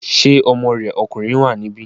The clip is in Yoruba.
Ṣé ọmọ rẹ̀ ọkùnrin wà níbí?